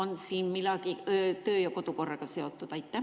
Kas siin on midagi töö‑ ja kodukorraga seotud?